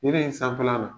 Yiri in sanfɛla la